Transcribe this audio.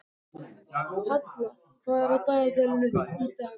Halla, hvað er á dagatalinu í dag?